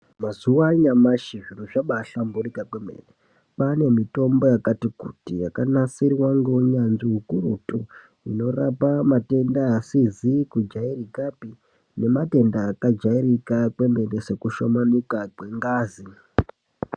Mazuva anyamashi zviro zvaba hlamburika kwemene. Kwane mitombo yakati kuti yakanasirwa neunyanzvi ukurutu inorapa matenda asizi kujairikapi nematenda akajairika kwemene soku shomanika kwengazi.